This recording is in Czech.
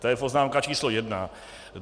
To je poznámka číslo jedna.